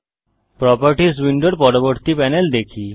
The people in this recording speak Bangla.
প্রোপার্টিস উইন্ডোর পরবর্তী প্যানেল দেখি